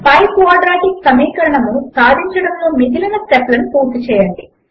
పై quadratic సమీకరణము సాధించడములో మిగిలిన స్టెప్ లను పూర్తి చేయండి